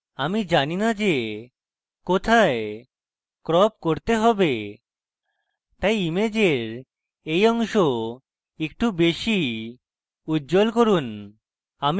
আমি জানি না যে কোথায় crop করতে হবে তাই ইমেজের এই অংশ একটু বেশী উজ্জল করুন